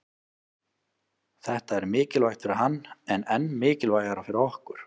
Þetta er mikilvægt fyrir hann en enn mikilvægara fyrir okkur